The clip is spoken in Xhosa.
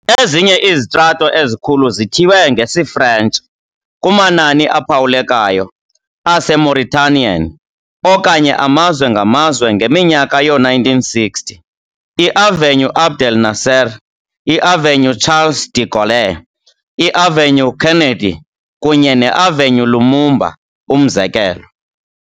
Ezinye izitrato ezikhulu zithiywe ngesiFrentshi kumanani aphawulekayo aseMauritanian okanye amazwe ngamazwe ngeminyaka yoo-1960, iAvenue Abdel Nasser, iAvenue uCharles de Gaulle, iAvenue Kennedy, kunye neAvenue Lumumba, umzekelo.